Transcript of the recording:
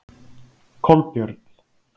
Kolbjörn